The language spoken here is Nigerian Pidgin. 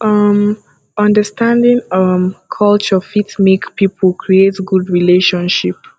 um understanding um culture fit make pipo create good relationship